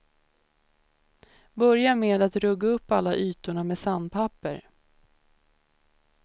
Börja med att rugga upp alla ytorna med sandpapper.